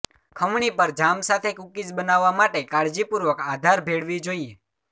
ખમણી પર જામ સાથે કૂકીઝ બનાવવા માટે કાળજીપૂર્વક આધાર ભેળવી જોઈએ